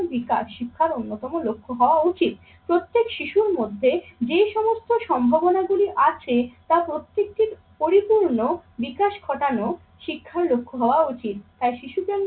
বিকাশ শিক্ষার অন্যতম লক্ষ্য হওয়া উচিত। প্রত্যেক শিশুর মধ্যে যে সমস্ত সম্ভাবনা গুলি আছে তা প্রত্যেকটির পরিপূর্ণ বিকাশ ঘটানো শিক্ষার লক্ষ্য হওয়া উচিত। তাই শিশু কেন্দ্রিক